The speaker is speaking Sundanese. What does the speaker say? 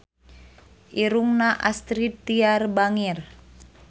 Irungna Astrid Tiar bangir